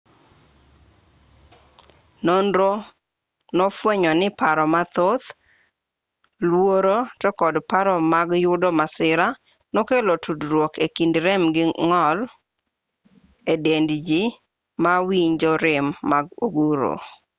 nonro nofwenyo ni paro mathoth luoro to kod paro mag yudo masira nokelo tudruok e kind rem gi ng'ol e dend ji ma winjo rem mag oguro